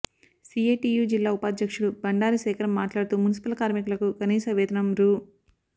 CITU జిల్లా ఉపాధ్యక్షుడు బండారి శేఖర్ మాట్లాడుతూ మున్సిపల్ కార్మికులకు కనీస వేతనం రూ